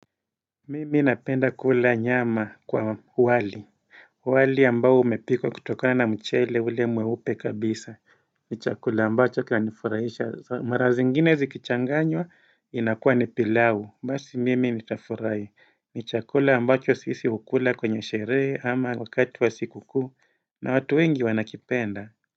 Mimi napenda kula nyama kwa wali wali ambao umepikwa kutokana na mchele ule mweupe kabisa ni chakula ambacho kinanifurahisha mara zingine zikichanganywa inakuwa ni pilau Basi mimi nitafurahi Mni chakula ambacho sisi hukula kwenye sheree ama wakati wa sikukuu na watu wengi wanakipenda.